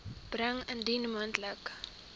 bring indien moontlik